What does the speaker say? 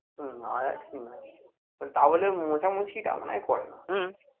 হম আয়া ঠিক নয় but তাবলে মোছামুছিটা মনে হয় করেনা